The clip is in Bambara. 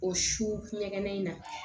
O su ɲɛgɛn in na